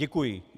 Děkuji.